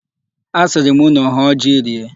Asịrị m unu hụọ ji rie.